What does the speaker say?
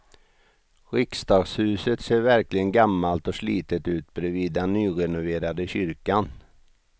Riksdagshuset ser verkligen gammalt och slitet ut bredvid den nyrenoverade kyrkan.